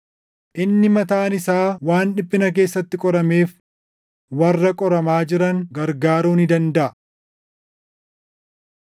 Inni mataan isaa waan dhiphina keessatti qorameef warra qoramaa jiran gargaaruu ni dandaʼa.